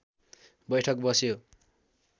बैठक बस्यो